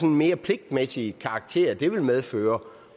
en mere pligtmæssig karakter som det ville medføre